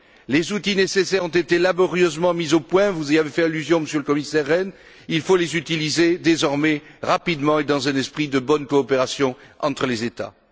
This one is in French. Les outils nécessaires ont été laborieusement mis au point, vous y avez fait allusion, Monsieur le Commissaire Rehn, il faut les utiliser désormais rapidement et dans un esprit de bonne coopération entre les États.